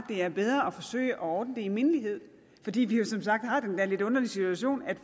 det er bedre at forsøge at ordne det i mindelighed fordi vi jo som sagt har den der lidt underlige situation at